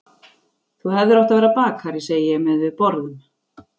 Þú hefðir átt að verða bakari, segi ég meðan við borðum.